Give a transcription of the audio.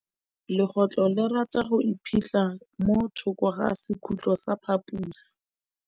Legôtlô le rata go iphitlha mo thokô ga sekhutlo sa phaposi.